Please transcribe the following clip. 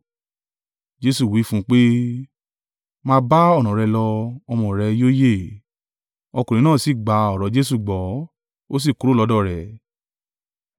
Jesu wí fún un pé, “Máa bá ọ̀nà rẹ lọ; ọmọ rẹ yóò yè.” Ọkùnrin náà sì gba ọ̀rọ̀ Jesu gbọ́, ó sì kúrò lọ́dọ̀ rẹ̀.